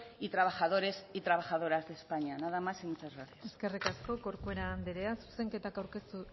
y trabajadores y trabajadoras de españa nada más y muchas gracias eskerrik asko corcuera andrea zuzenketak aurkeztu